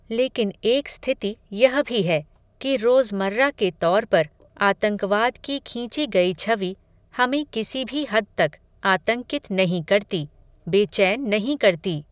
लेकिन एक स्थिति यह भी है, कि रोज़मर्रा के तौर पर, आतंकवाद की खींची गयी छवि, हमें किसी भी हद तक, आतंकित नहीं करती, बेचैन नहीं करती